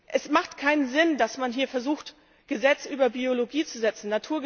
Es ergibt keinen Sinn, dass man hier versucht, Gesetze über Biologie zu setzen.